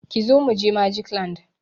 Kizo mu je Magic land!